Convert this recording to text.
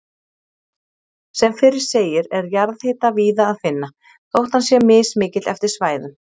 Sem fyrr segir er jarðhita víða að finna, þótt hann sé mismikill eftir svæðum.